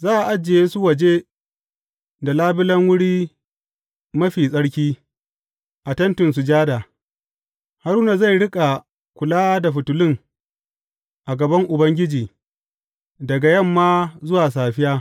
Za a ajiye su waje da labulen Wuri Mafi Tsarki a Tentin Sujada, Haruna zai riƙa kula da fitilun a gaban Ubangiji, daga yamma zuwa safiya.